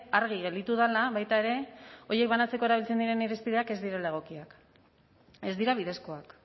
argi gelditu dela baita ere horiek banatzeko erabiltzen diren irizpideak ez direla egokiak ez dira bidezkoak